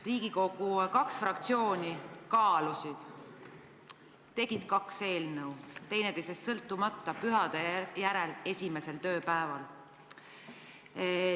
Riigikogu kaks fraktsiooni kaalusid, tegid kaks eelnõu, teineteisest sõltumata, pühade järel esimesel tööpäeval.